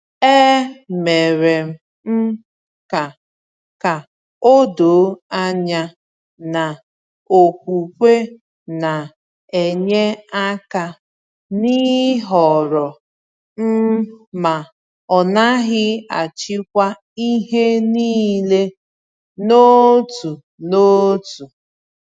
E mere m ka ka o doo anya na okwukwe na-enye aka n’ịhọrọ m, ma ọ naghị achịkwa ihe niile n’otu n’otu.